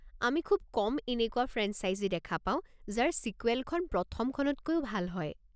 আমি খুব কম এনেকুৱা ফ্ৰেঞ্চাইজী দেখা পাওঁ যাৰ ছিকুৱেলখন প্ৰথমখনতকৈও ভাল হয়।